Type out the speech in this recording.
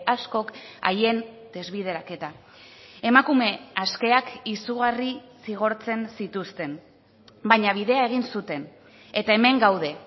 askok haien desbideraketa emakume askeak izugarri zigortzen zituzten baina bidea egin zuten eta hemen gaude